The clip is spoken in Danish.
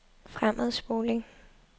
fremadspoling